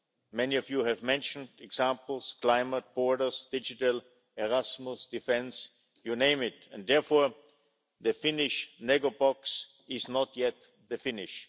Many of you have mentioned examples climate, borders, digital, Erasmus, defence, you name it and therefore the Finnish negobox is not yet the finish.